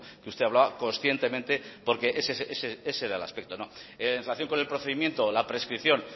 que usted hablaba conscientemente porque ese era el aspecto en relación con el procedimiento la prescripción